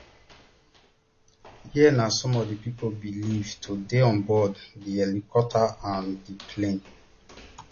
here na some of di pipo believed to dey on board di helicopter and di plane